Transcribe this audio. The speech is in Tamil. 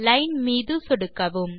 Lineமீது சொடுக்கவும்